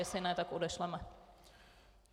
Jestli ne, tak odešleme.